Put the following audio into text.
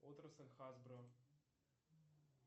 отрасль хасбро